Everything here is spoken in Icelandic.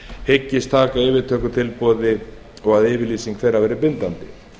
hyggist taka yfirtökutilboði og að yfirlýsing þeirra verði bindandi